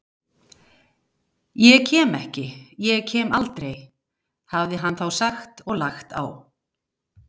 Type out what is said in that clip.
Ég kem ekki, ég kem aldrei, hafði hann þá sagt og lagt á.